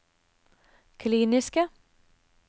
kliniske